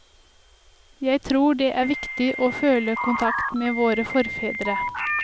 Jeg tror det er viktig å føle kontakt med våre forfedre.